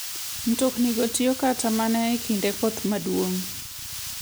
Mtoknigo tiyo kata mana e kinde koth maduong'.